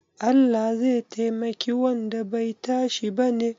Allah zai taimaki wanda bai tashi bane?